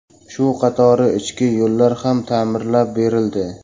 Shu qatori ichki yo‘llar ham ta’mirlab berildi.